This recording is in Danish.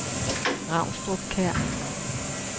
Ravnstrup Kær